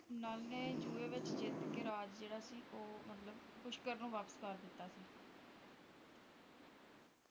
ਨਲ ਨੇ ਜੂਏ ਵਿਚ ਜਿੱਤ ਕੇ ਰਾਜ ਜਿਹੜਾ ਸੀ ਉਹ ਮਤਲਬ ਕਿ ਪੁਸ਼ਕਰ ਨੂੰ ਵਾਪਿਸ ਕਰ ਦਿੱਤਾ ਸੀ